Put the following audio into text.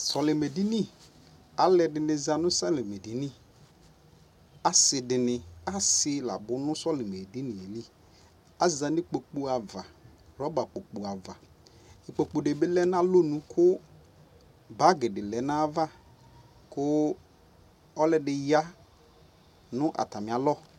Sɔli mɛ di niAlu yɛ di ni za nu sɔlimɛ di niAsi dini asi la bu nusɔli mɛ dini yɛ liAza nu ikpoku ava rɔba kpoku ava IKpoku dibi lɛ na lɔ nu ku bagi di lɛ nava ku ɔlɔdi ya nu ata mia lɔ